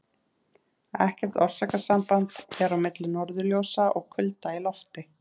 ekkert orsakasamband er á milli norðurljósa og kulda í lofti